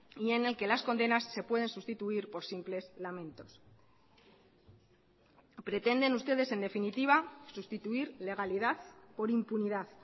y en el que las condenas se pueden sustituir por simples lamentos pretenden ustedes en definitiva sustituir legalidad por impunidad